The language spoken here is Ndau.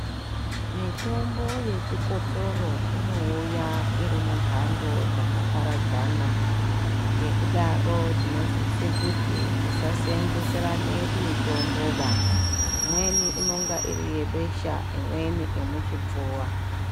Mitombo yechikotsoro inouya iri mumbaandoo dzakaparadzana, ngekudaro tinosise kuti tisaseenzeserane mitomboba, imweni inenge iri yebesha imweni yemuchipfuvaa.